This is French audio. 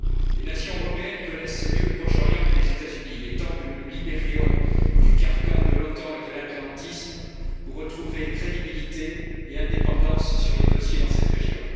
Les nations européennes connaissent mieux le Proche Orient que les États Unis, il est temps que nous nous libérions du carcan de l'OTAN et de l'atlantisme pour retrouver crédibilité et indépendance sur les dossiers dans cette région.